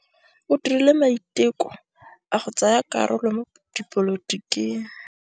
O dirile maitekô a go tsaya karolo mo dipolotiking.